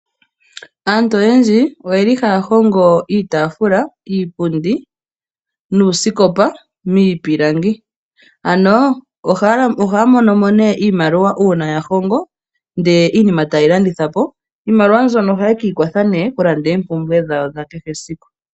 Aantu oyendji oyeli haya hongo iitafula, iipundi nuuskopa miipilangi ano ohaya monomo iimaliwa una ya hongo ndele iinima taye yi landithapo. Iimaliwa mbyono ohaye ki ikwatha oku landa oompumbwe dhawo dhakehe esiku.